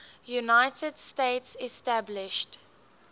united states established